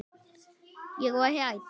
Ég var hrædd.